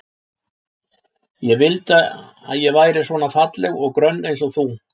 Ég vildi að ég væri svona falleg og grönn eins og þú.